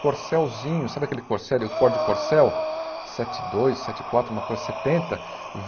Corselzinho, sabe aquele corsel Ford Corsel sete dois, sete quatro, uma cor setenta?